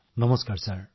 নমস্কাৰ মহোদয়